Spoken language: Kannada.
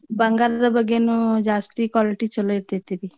ಬಂಗಾರದ ಬಗೇನೂ ಜಾಸ್ತಿ quality ಚೊಲೋ ಇರ್ತೇತಿರಿ.